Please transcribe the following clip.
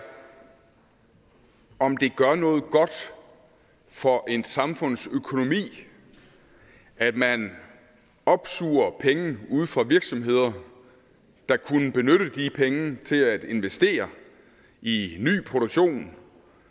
om det gør noget godt for en samfundsøkonomi at man opsuger penge ude fra virksomheder der kunne benytte de penge til at investere i ny produktion